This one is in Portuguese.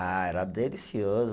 Ah, era delicioso.